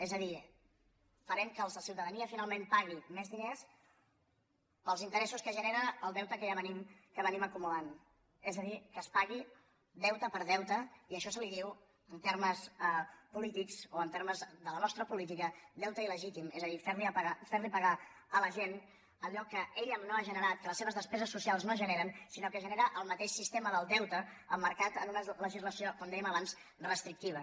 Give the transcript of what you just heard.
és a dir farem que la ciutadania finalment pagui més diners pels interessos que genera el deute que ja venim acumulant és a dir que es pagui deute per deute i d’això se’n diu en termes polítics o en termes de la nostra política deute il·legítim és a dir fer li pagar a la gent allò que ella no ha generat que les seves despeses socials no generen sinó que ho genera el mateix sistema del deute emmarcat en una legislació com dèiem abans restrictiva